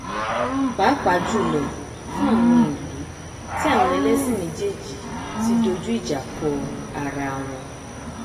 pàápàá jùlọ fún àwọn ìlú tí àwọn ẹlẹsìn méjéèjì ti dojú ìjà ko arawọn